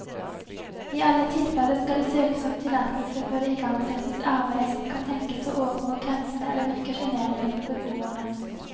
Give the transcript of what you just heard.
I alle tilfeller skal det søkes om tillatelse før det igangsettes arbeid som kan tenkes å overgå grensene eller virke sjenerende for beboerne.